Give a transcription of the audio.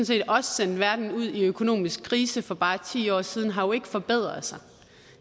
set også sendte verden ud i økonomisk krise for bare ti år siden har jo ikke forbedret sig